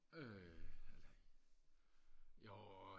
øh jo